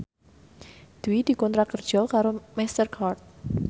Dwi dikontrak kerja karo Master Card